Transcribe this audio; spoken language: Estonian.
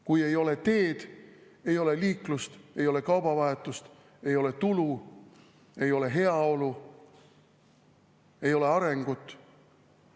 Kui ei ole teed, ei ole liiklust, ei ole kaubavahetust, ei ole tulu, ei ole heaolu, ei ole arengut.